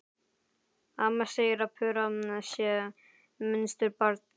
Amma segir að Þura sé munsturbarn.